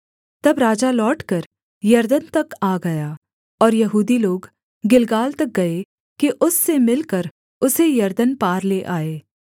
तब राजा लौटकर यरदन तक आ गया और यहूदी लोग गिलगाल तक गए कि उससे मिलकर उसे यरदन पार ले आएँ